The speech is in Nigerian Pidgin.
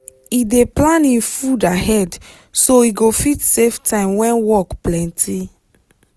he dey plan him food ahead so he go fit save time when work plenty.